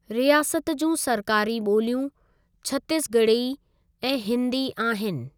रियासत जूं सरकारी ॿोलियूं छत्तीस ॻड़ही ऐं हिन्दी आहिनि।